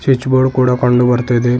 Switch board ಕೂಡ ಕಂಡು ಬರ್ತಾ ಇದೆ.